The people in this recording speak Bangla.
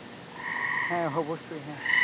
হ্যাঁ, অবশ্যই হ্যাঁ,